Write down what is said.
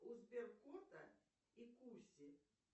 у сберкота и куси